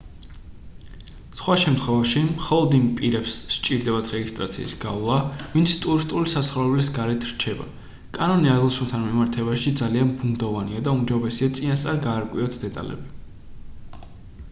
სხვა შემთხვევებში მხოლოდ იმ პირებს სჭირდებათ რეგისტრაციის გავლა ვინც ტურისტული საცხოვრებელის გარეთ რჩება კანონი აღნიშნულთან მიმართებით ძალიან ბუნდოვანია და უმჯობესია წინასწარ გაარკვიოთ დეტალები